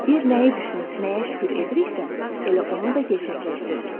Biz nəyi düşünüb nəyə şükür ediriksə, elə onu da gerçəkləşdiririk.